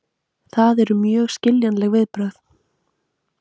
Það eru mjög skiljanleg viðbrögð.